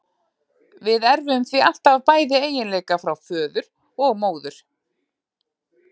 Við erfum því alltaf bæði eiginleika frá föður og móður.